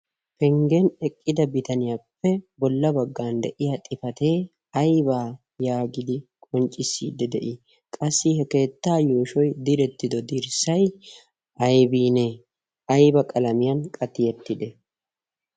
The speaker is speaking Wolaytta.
penggen eqqida bitaniyaappe bolla baggan de'iya xifatee aybaa yaagidi qonccissiidde de'ii? qassi he keettaa yooshoy direttido dirssay aybinee ayba qalamiyan qatiyettide?